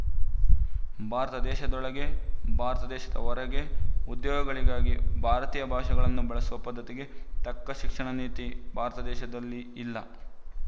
ಭಾರತ ದೇಶದೊಳಗೆ ಭಾರತ ದೇಶದ ಹೊರಗೆ ಉದ್ಯೋಗಗಳಿಗಾಗಿ ಭಾರತೀಯ ಭಾಷೆಗಳನ್ನು ಬಳಸುವ ಪದ್ದತಿಗೆ ತಕ್ಕ ಶಿಕ್ಷಣ ನೀತಿ ಭಾರತದೇಶದಲ್ಲಿ ಇಲ್ಲ